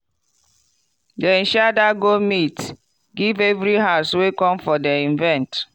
dem share that goat meat give every house wey come for the event.